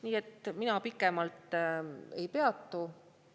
Nii et ma pikemalt ei peatu.